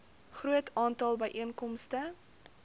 groot aantal byeenkomste